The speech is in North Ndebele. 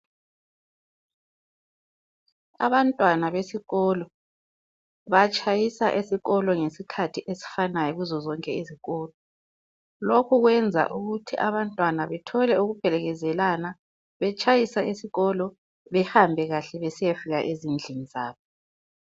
Abantwana besikolo, batshayisa esikolo ngesikhathi esifanayo kuzo zonke izikolo. Lokhu kwenza ukuthi abantwana bethole ukuphelekezelana betshayisa esikolo ukwenzela ukuthi behambe kahle besiyafika kuhle ezindlini zabo